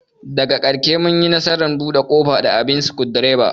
Daga karshe mun yi nasarar bude kofar da abin sukundiraba.